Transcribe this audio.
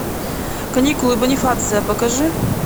каникулы бонифация покажи